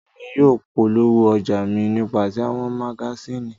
Emi yóò polowo ọja mi nipasẹ awọn magasini